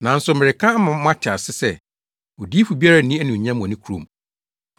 “Nanso mereka ama moate ase sɛ, Odiyifo biara nni anuonyam wɔ ne kurom.